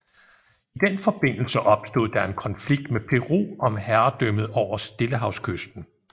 I den forbindelse opstod der en konflikt med Peru om herredømmet over Stillehavskysten